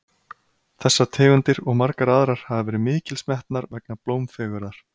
þessar tegundir og margar aðrar hafa verið mikils metnar vegna blómfegurðar